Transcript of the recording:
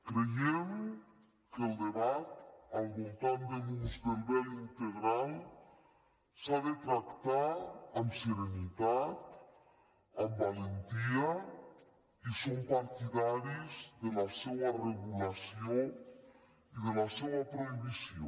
creiem que el debat al voltant de l’ús del vel integral s’ha de tractar amb serenitat amb valentia i som partidaris de la seua regulació i de la seua prohibició